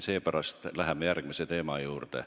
Seepärast läheme järgmise teema juurde.